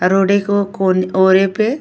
आ रोडी को कोन ओए पे --